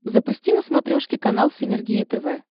запусти на смотрешке канал синергия тв